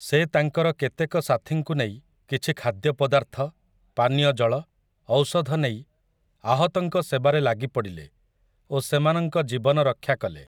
ସେ ତାଙ୍କର କେତେକ ସାଥିଙ୍କୁ ନେଇ କିଛି ଖାଦ୍ୟପଦାର୍ଥ, ପାନୀୟଜଳ, ଔଷଧ ନେଇ ଆହତଙ୍କ ସେବାରେ ଲାଗିପଡ଼ିଲେ ଓ ସେମାନଙ୍କ ଜୀବନ ରକ୍ଷାକଲେ ।